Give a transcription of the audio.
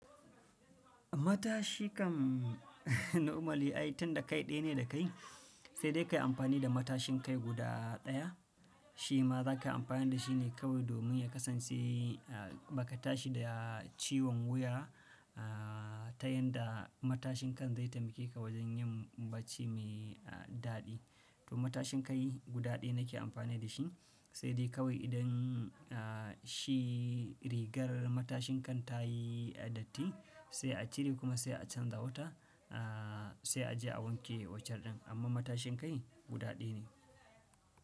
Matashi kam normally ai tun da kai ɗaya ne da kai, sai dai ka yi amfani da matashin kai guda ɗaya. Shi ma za ka yi amfani da shi ne kawai domin ya kasance ba ka tashi da ciwon wuya ta yanda matashin kan zai taimake ka wajen yin bacci mai daɗi. To matashin kai guda ɗaya nake amfani da shi sai dai kawai idan shi rigar matashin kan ta yi datti sai a cire kuma sai a canza wata sai a je a wanke wanchan ɗin. Amma matashin kai guda ɗaya ne.